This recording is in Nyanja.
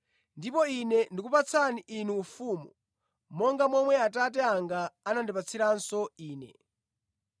Ndipo Ine ndikupatsani inu ufumu, monga momwe Atate anga anandipatsiranso Ine,